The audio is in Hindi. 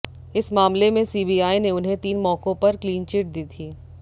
इस मामले में सीबीआय ने उन्हें तीन मौकों पर क्लीनचिट दी थी